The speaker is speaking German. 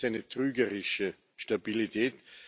Aber das ist eine trügerische Stabilität.